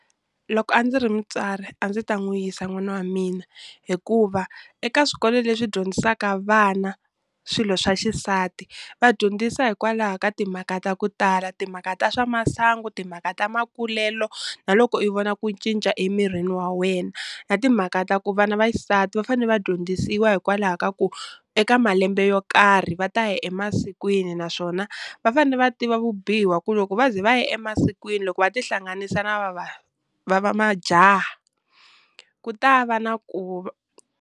Loko a ndzi ri mutswari a ndzi ta n'wi yisa n'wana wa mina hikuva eka swikolo leswi dyondzisaka vana swilo swa xisati va dyondzisa hikwalaho ka timhaka ta ku tala timhaka ta swa masangu timhaka ta makulelo na loko i vona ku cinca emirini wa wena na timhaka ta ku vana vaxisati va fane va dyondzisiwa hikwalaho ka ku eka malembe yo karhi va ta ya emasikwini naswona va fane va tiva vubihi wa ku loko va ze va ya emasikwini loko va ti hlanganisa na va va va va majaha ku ta va na .